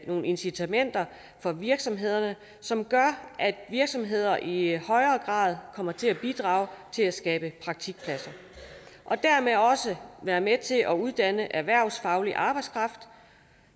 nogle incitamenter for virksomhederne som gør at virksomheder i højere grad kommer til at bidrage til at skabe praktikpladser og dermed være med til at uddanne erhvervsfaglig arbejdskraft